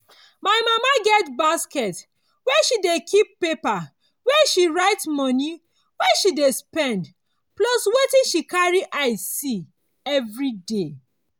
my mama get basket wey she dey keep di paper where she write moni wey she spend plus wetin she carry eye see everiday.